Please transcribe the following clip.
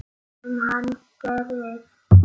Sem hann gerir.